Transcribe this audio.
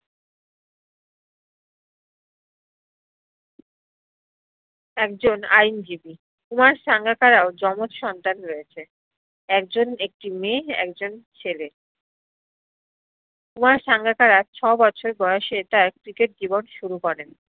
একজন আইনজীবী কুমার সাঙ্গাকারাও জমজ সন্তান রয়েছে একজন একটি মেয়ে একজন ছেলে কুমার সাঙ্গাকারা ছ বছর বয়সে তার cricket জীব্ন শুরু করেন